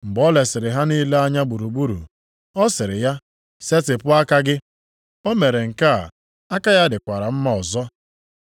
Mgbe o lesiri ha niile anya gburugburu, ọ sịrị ya, “Setịpụ aka gị.” O mere nke a, aka ya dịkwara mma ọzọ.